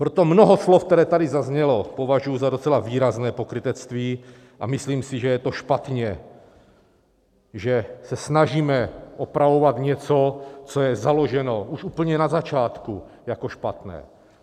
Proto mnoho slov, která tady zazněla, považuji za docela výrazné pokrytectví, a myslím si, že je to špatně, že se snažíme opravovat něco, co je založeno už úplně na začátku jako špatné.